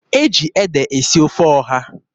E ji ede esi ofe ọha.